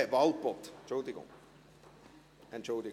– Bitte entschuldigen Sie: Frau Walpoth.